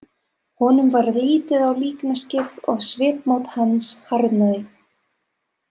Honum varð litið á líkneskið og svipmót hans harðnaði.